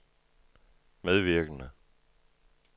medvirkende